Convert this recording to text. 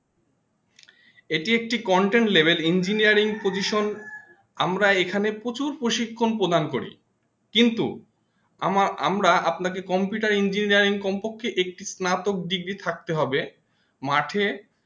এটি একটি content level Engineering pojison আমরা এখানে প্রচুর প্ৰশিক্ষণ প্রদান করি কিন্তু আমার আমরা আপনাকে Computer Engineering কমপক্ষে একটি স্নাতক ডিগ্রী থাকতে হবে মাঠে